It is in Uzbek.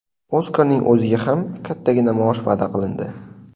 Oskarning o‘ziga ham kattagina maosh va’da qilindi.